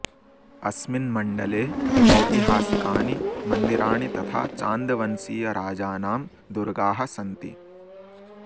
अस्मिन् मण्डले ऐतिहासिकानि मन्दिराणि तथा चान्दवंशीयराजानां दुर्गाः सन्ति